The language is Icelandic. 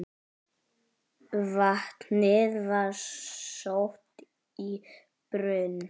Vatnið var sótt í brunn.